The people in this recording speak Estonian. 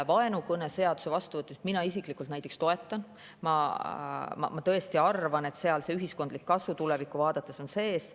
Vaenukõneseaduse vastuvõtmist mina isiklikult näiteks toetan, ma tõesti arvan, tulevikku vaadates, et seal on ühiskondlik kasu sees.